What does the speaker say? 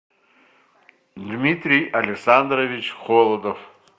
дмитрий александрович холодов